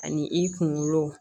Ani i kunkolo